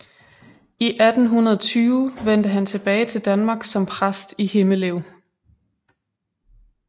I 1820 vendte han tilbage til Danmark som præst i Himmelev